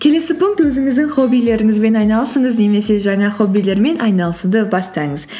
келесі пункт өзіңіздің хоббилеріңізбен айналысыңыз немесе жаңа хоббилермен айналысуды бастаңыз